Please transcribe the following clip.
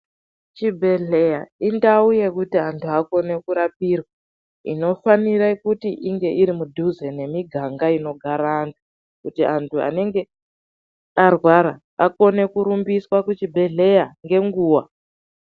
Chibhedhleya ,indau yekuti antu akone kurapirwa, inofanire kuti inge iri mudhuze nemiganga inogara anhu, kuti antu anenge arwara, akone kurumbiswa kuchibhedhleya ngenguwa.